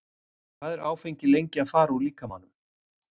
hvað er áfengi lengi að fara úr líkamanum